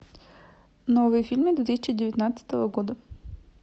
новые фильмы две тысячи девятнадцатого года